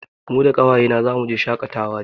Ni da ƙawaye na zamu je shaƙatawa jibi